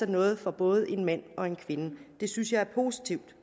noget for både en mand og en kvinde det synes jeg er positivt